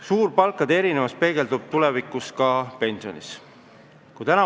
Suur palkade erinevus peegeldub tulevikus ka pensionides.